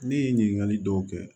Ne ye ɲininkali dɔw kɛ